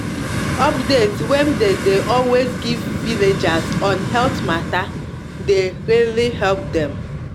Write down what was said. update wey dem de always give villagers on health matter the really help dem